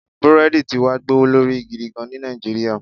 Búrèèdì ti wá gbówó lórí gidigan ní Nàìjíríyà